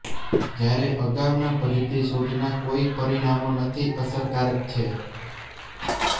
જ્યારે અગાઉના પદ્ધતિ શોધના કોઈ પરિણામો નથી અસરકારક છે